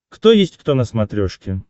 кто есть кто на смотрешке